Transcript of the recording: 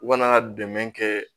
U kana dɛmɛ kɛ